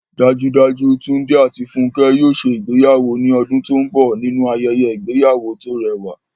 Dájúdájú, Túndé àti Fúnkẹ́ yóò ṣe ìgbéyàwó ní ọdún tó ń bọ̀ nínú ayẹyẹ ìgbéyàwó tó rẹwà